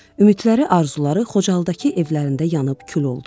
Ümidləri, arzuları Xocalıdakı evlərində yanıb kül oldu.